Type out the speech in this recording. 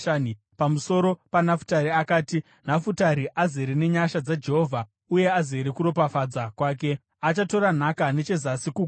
Pamusoro paNafutari akati: “Nafutari azere nenyasha dzaJehovha uye azere kuropafadza kwake: achatora nhaka nechezasi kugungwa.”